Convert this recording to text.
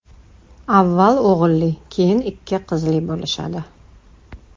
Avval o‘g‘illi, keyin ikki qizli bo‘lishadi.